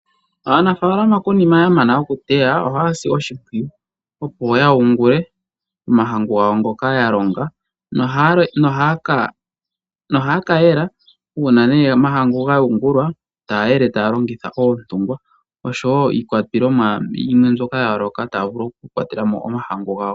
Aanafaalama konima yamana okuteya ohaya si oshimpwiyu , opo ya yungule omahangu ngoka ya longa , nohaya ka yela uuna omahangu ga yungulwa, taya longitha oontungwa oshowoo iikwatelwa yimwe mbyoka taya vulu okukwatelamo omahangu gawo.